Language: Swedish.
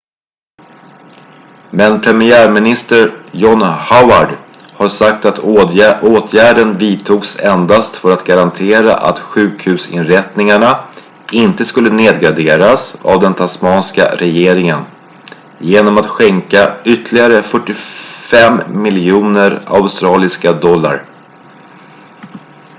men premiärminister john howard har sagt att åtgärden vidtogs endast för att garantera att sjukhusinrättningarna inte skulle nedgraderas av den tasmanska regeringen genom att skänka ytterligare 45 miljoner australiska dollar